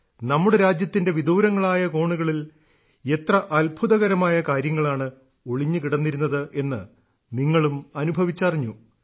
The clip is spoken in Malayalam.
നമ്മുടെ രാജ്യത്തിന്റെ വിദൂരങ്ങളായ കോണുകളിൽ എത്ര അത്ഭുതകരമായ കാര്യങ്ങളാണ് ഒളിഞ്ഞു കിടന്നിരുന്നത് എന്ന് നിങ്ങളും അനുഭവിച്ചറിഞ്ഞു